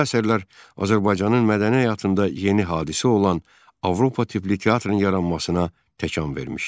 Məhz bu əsərlər Azərbaycanın mədəni həyatında yeni hadisə olan Avropa tipli teatrın yaranmasına təkan vermişdi.